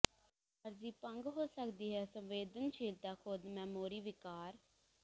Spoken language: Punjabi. ਆਰਜ਼ੀ ਭੰਗ ਹੋ ਸਕਦੀ ਹੈ ਸੰਵੇਦਨਸ਼ੀਲਤਾ ਖ਼ੁਦ ਮੈਮੋਰੀ ਵਿਕਾਰ